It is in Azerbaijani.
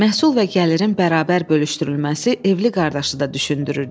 Məhsul və gəlirin bərabər bölüşdürülməsi evli qardaşı da düşündürürdü.